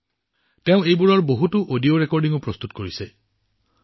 তেওঁ ইয়াৰ সৈতে সম্পৰ্কিত বহুতো অডিঅ ৰেকৰ্ডিঙো প্ৰস্তুত কৰিছে